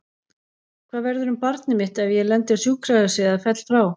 Hvað verður um barnið mitt ef ég lendi á sjúkrahúsi eða ég fell frá?